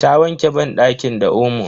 Ta wanke banɗakin da omo.